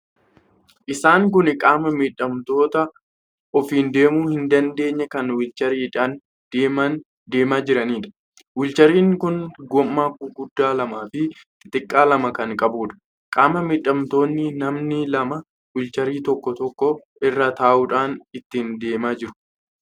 Isaan kun qaama miidhamtoota ofiin deemuu hin dandeenye kan 'wiilcharii'dhaan deemaa jiraniidha. 'Wiilcharii'n kun gommaa guguddaa lamaa fi xixiqqaa lama kan qabuudha. Qaama miidhamtoonni namni lama 'wiilcharii' tokko tokko irra taa'uudhaan ittiin deemaa jiru.